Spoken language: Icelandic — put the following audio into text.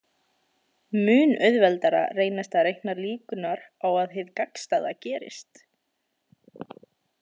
Mun auðveldara reynist að reikna líkurnar á að hið gagnstæða gerist.